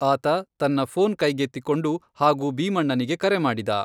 ಆತ ತನ್ನ ಫೋನ್ ಕೈಗೆತ್ತಿಕೊಂಡು ಹಾಗೂ ಭೀಮಣ್ಣನಿಗೆ ಕರೆ ಮಾಡಿದ.